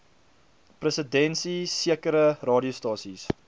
presidensie sekere radiostasies